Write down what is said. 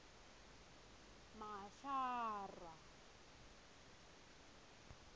mashara